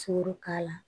Sogo k'a la